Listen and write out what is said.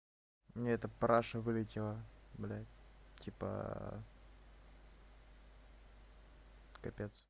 и эта параша вылетела блять типа капец